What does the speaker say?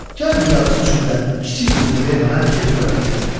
Gəl bu yarısı üçün də kiçik qızını ver mənə, gedim Qıratı gətirim.